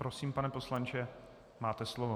Prosím, pane poslanče, máte slovo.